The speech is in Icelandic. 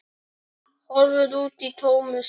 Horfir út í tómið.